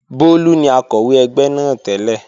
Bólú ni Akọ̀wé ẹgbẹ́ náà tẹ́lẹ̀